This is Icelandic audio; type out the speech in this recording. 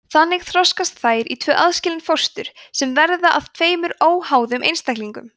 þannig þroskast þær í tvö aðskilin fóstur sem verða að tveimur óháðum einstaklingum